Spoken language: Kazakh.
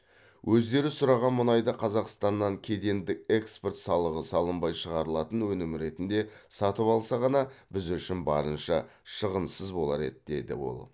өздері сұраған мұнайды қазақстаннан кедендік экспорт салығы салынбай шығарылатын өнім ретінде сатып алса ғана біз үшін барынша шығынсыз болар еді деді ол